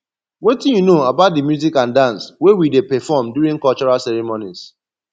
wetin you know about di music and dance wey we dey perform during cultural ceremonies